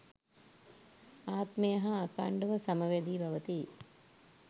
ආත්මය හා අඛණ්ඩව සම වැදී පවති යි.